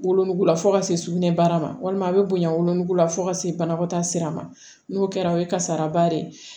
Wolonugu la fo ka se sugunɛbara ma walima a bɛ bonya wolonugu la fo ka se banakɔtaa sira ma n'o kɛra o ye kasaraba de ye